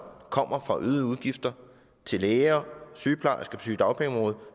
kommer fra øgede udgifter til læger og sygeplejersker på sygedagpengeområdet